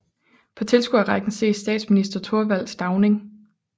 På tilskuerrækken ses statsminister Thorvald Stauning